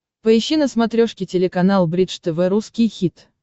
поищи на смотрешке телеканал бридж тв русский хит